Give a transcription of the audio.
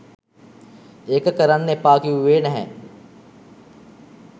ඒක කරන්න එපා කිව්වේ නැහැ.